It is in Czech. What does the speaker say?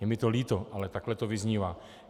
Je mi to líto, ale takhle to vyznívá.